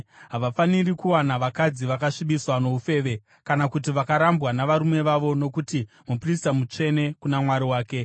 “ ‘Havafaniri kuwana vakadzi vakasvibiswa noufeve kana kuti vakarambwa navarume vavo nokuti muprista mutsvene kuna Mwari wake.